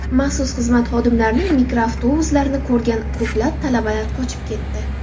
Maxsus xizmat xodimlarining mikroavtobuslarini ko‘rgan ko‘plab talabalar qochib ketdi.